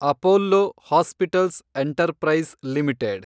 Apollo hospitals enterprise limited